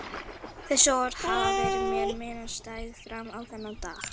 Þessi orð hafa verið mér minnisstæð fram á þennan dag.